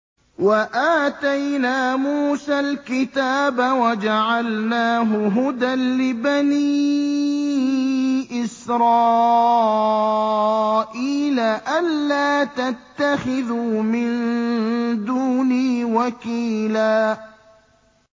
وَآتَيْنَا مُوسَى الْكِتَابَ وَجَعَلْنَاهُ هُدًى لِّبَنِي إِسْرَائِيلَ أَلَّا تَتَّخِذُوا مِن دُونِي وَكِيلًا